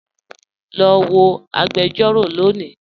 Lọ wọ̀ agbẹ̀jọ̀rọ̀ lónì